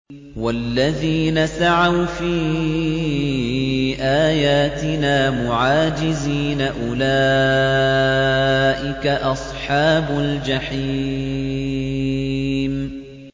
وَالَّذِينَ سَعَوْا فِي آيَاتِنَا مُعَاجِزِينَ أُولَٰئِكَ أَصْحَابُ الْجَحِيمِ